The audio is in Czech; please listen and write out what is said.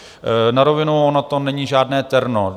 Na rovinu, ono to není žádné terno.